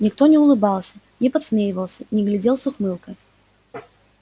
никто не улыбался не подсмеивался не глядел с ухмылкой